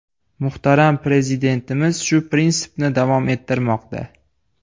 Muhtaram Prezidentimiz shu prinsipni davom ettirmoqda.